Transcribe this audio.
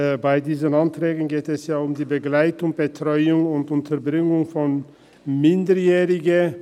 Bei diesen Anträgen geht es ja um die Begleitung, die Betreuung und die Unterbringung von Minderjährigen.